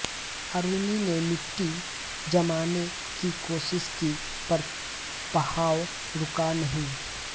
आरुणि ने मिट्टी जमाने की कोशिश की पर बहाव रुका नहीं